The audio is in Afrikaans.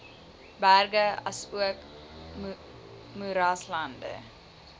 berge asook moeraslande